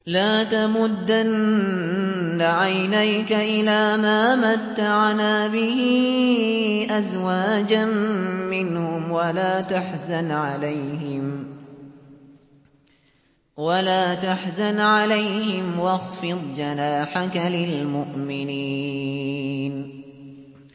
لَا تَمُدَّنَّ عَيْنَيْكَ إِلَىٰ مَا مَتَّعْنَا بِهِ أَزْوَاجًا مِّنْهُمْ وَلَا تَحْزَنْ عَلَيْهِمْ وَاخْفِضْ جَنَاحَكَ لِلْمُؤْمِنِينَ